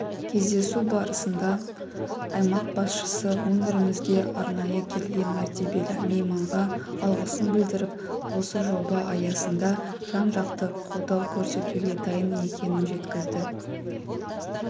кездесу барысында аймақ басшысы өңірімізге арнайы келген мәртебелі мейманға алғысын білдіріп осы жоба аясында жан-жақты қолдау көрсетуге дайын екенін жеткізді